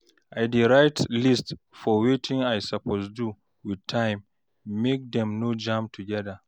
I dey write list for wetin I soppose do wit time mek dem no jam togeda